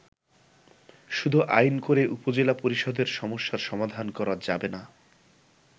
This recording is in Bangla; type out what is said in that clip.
শুধু আইন করে উপজেলা পরিষদের সমস্যার সমাধান করা যাবেনা।